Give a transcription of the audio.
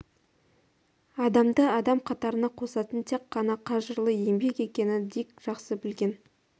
адамды адам қатарына қосатын тек қана қажырлы еңбек екенін дик жақсы білген